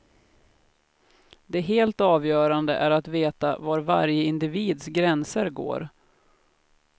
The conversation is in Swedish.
Det helt avgörande är att veta var varje individs gränser går.